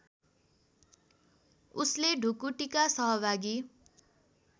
उसले ढुकुटीका सहभागी